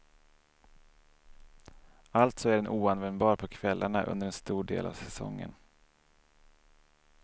Alltså är den oanvändbar på kvällarna under en stor del av säsongen.